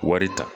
Wari ta